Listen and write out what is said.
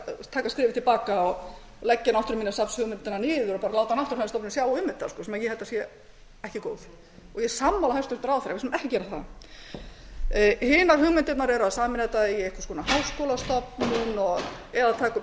taka skrefið til baka og leggja náttúruminjasafnshugmyndina niður og bara láta náttúrufræðistofnun sjá um þetta sem ég held að sé ekki góð ég er sammála hæstvirtum ráðherra við skulum ekki gera það hinar hugmyndirnar eru að sameina þetta í einhvers konar háskólastofnun eða taka upp einhverja gamla hugmynd